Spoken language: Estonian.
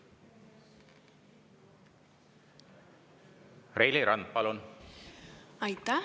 Reili Rand, palun!